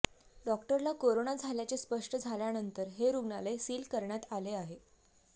डॉक्टरला करोना झाल्याचे स्पष्ट झाल्यानंतर हे रुग्णालय सील करण्यात आले आहे